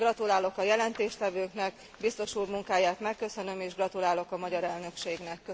Gratulálok a jelentéstevőknek, biztos úr munkáját megköszönöm, és gratulálok a magyar elnökségnek.